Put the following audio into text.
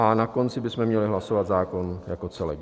A na konci bychom měli hlasovat zákon jako celek.